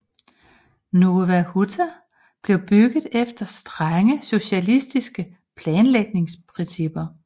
Nowa Huta blev bygget efter strenge socialistiske planlægningsprincipper